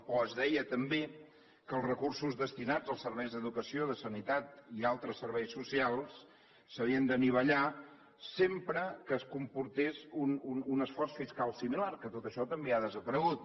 o s’hi deia també que els recursos destinats als serveis d’educació de sanitat i altres serveis socials s’havien d’anivellar sempre que comportés un esforç fiscal similar que tot això també ha desaparegut